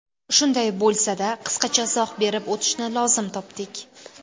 Shunday bo‘lsa-da, qisqacha izoh berib o‘tishni lozim topdik.